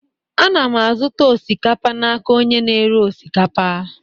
Ana m azụta osikapa n'aka onye na-ere osikapa.